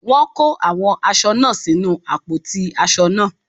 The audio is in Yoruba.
Wọ́n kó àwọn aṣọ náà sínu àpótí aṣọ náà.